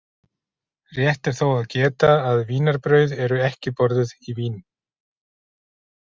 Rétt er þó að geta að vínarbrauð eru ekki borðuð í Vín.